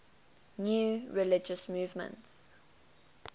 new religious movements